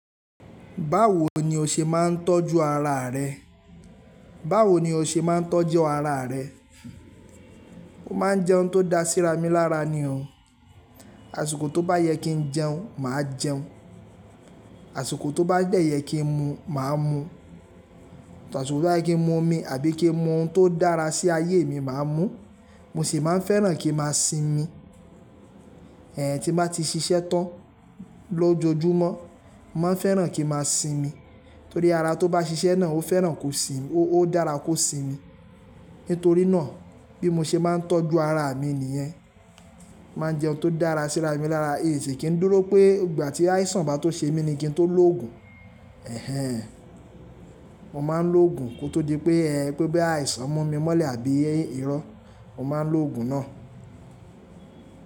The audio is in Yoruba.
Báwo ni o ṣe máa ń tọ́jú ara rẹ? Báwo ni o ṣe máa ń tọ́jú ara rẹ? Mo máa ń jẹun tó da síra mí lára ni o. Àṣìkò tó bá yẹ kí n jẹun, màá jẹun. Àṣìkò tó bá dẹ yẹ kí n mu, màá mu. Àṣìkò tó bá yẹ kí n mu omi àbí kí n mu ohun tó dára sí ayé mi, màá mú. Mo sì máa ń fẹ́ràn kí n máa sinmi. Ẹ̀hẹn, tí n bá ti ṣiṣẹ́ tán lójoojúmọ́, mo máa ń fẹ́ràn kí n máa sinmi. Torí ara tó bá ṣiṣẹ́ náà ó fẹ́ràn kó sin-- ó dára kó sinmi. Nítorí náà bí mo ṣe maa ń tọ́jú ara mi nìyẹn. N ma jẹun tó dára síra mí lára, n sì kí n dúró pé ìgbà tí àìsàn bá tó ṣe mí kí n tó lo òògùn. Ẹ̀hẹn. Mo máa ń lo òògùn kó tó dí pé ẹ́, boya àìsàn mú mi mọ́lẹ̀ àbí irọ́, mo máa ń lo òògùn náà.